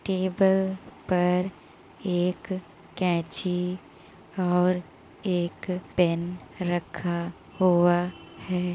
Table पर एक कैंची और एक पेन रखा हुआ है।